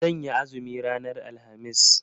Zan yi azumi ranar alhamis.